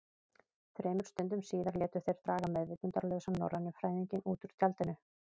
Þremur stundum síðar létu þeir draga meðvitundarlausan norrænufræðinginn út úr tjaldinu.